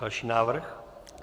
Další návrh?